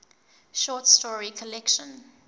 short story collection